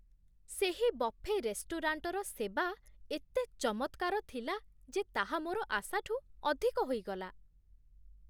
ସେହି ବଫେ ରେଷ୍ଟୁରାଣ୍ଟର ସେବା ଏତେ ଚମତ୍କାର ଥିଲା ଯେ ତାହା ମୋର ଆଶାଠୁ ଅଧିକ ହୋଇଗଲା!